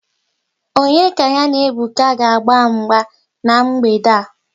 Onye ka ya na Ebuka ga-agba mgba n'mgbede a?